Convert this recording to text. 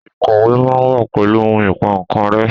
Ikọwe ma wa pẹlu ohun Ìpà kan rẹ́